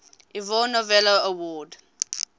ivor novello award